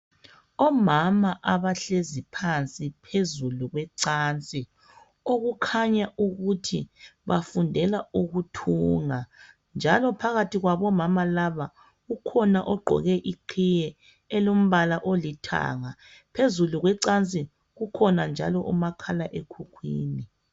Omama abahlezi phansi phezulu kwecansi okukhanya ukuthi bayfundela ukuthunga njalo phakathi kwabomama laba ukhona ogqoke iqhiye elombala olithanga phezulu kwecansi kukhona njalo umakhala ekhukhwini